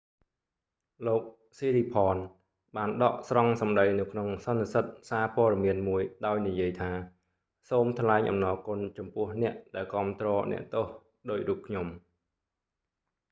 "លោក ស៊ីរីផនsiriporn បានដកស្រង់សម្តី​នៅក្នុង​សន្និសីទ​សារព័ត៌​មានមួយដោយនិយាយថា សូមថ្លែងអំណរ​គុណចំពោះ​អ្នក​ដែល​គាំទ្រ​អ្នកទោស​ដូចរូបខ្ញុំ។